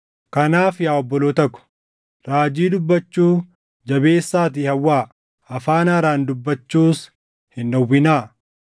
Kanaaf yaa obboloota ko, raajii dubbachuu jabeessaatii hawwaa; afaan haaraan dubbachuus hin dhowwinaa.